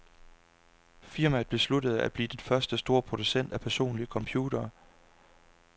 Firmaet besluttede, at blive den første store producent af personlige computere.